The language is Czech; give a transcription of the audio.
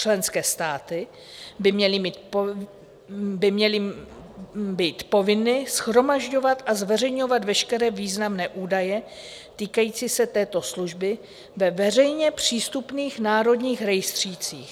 Členské státy by měly být povinny shromažďovat a zveřejňovat veškeré významné údaje týkající se této služby ve veřejně přístupných národních rejstřících.